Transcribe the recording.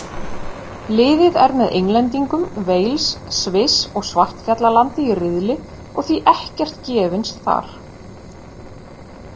Liðið er með Englendingum, Wales, Sviss og Svartfjallalandi í riðli og því ekkert gefins þar.